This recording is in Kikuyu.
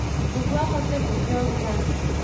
Nĩguo ahote kũgĩa ũrugarĩ